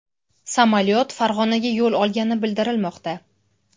Samolyot Farg‘onaga yo‘l olgani bildirilmoqda.